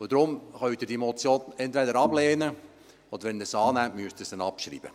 Deshalb können Sie die Motion entweder ablehnen, oder wenn Sie sie annehmen, müssten Sie sie abschreiben.